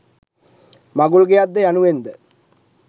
මඟුල් ගෙයක් ද යනුවෙන් ද